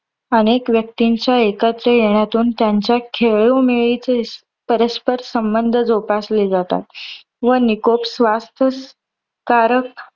अनेक व्यक्तींच्या एकत्र येण्यातून, त्यांचात खेळोंमेळीचे परस्पर संबंध जोपासले जातात व निकोप स्वस्थकारक